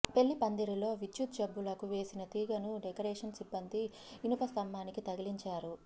పెళ్లి పందిరిలో విద్యుత్ బల్బులకు వేసిన తీగను డెకరేషన్ సిబ్బంది ఇనుప స్తంభానికి తగిలించారు